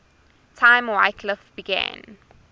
time wycliffe began